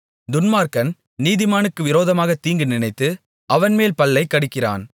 துன்மார்க்கன் நீதிமானுக்கு விரோதமாகத் தீங்கு நினைத்து அவன்மேல் பல்லைக் கடிக்கிறான்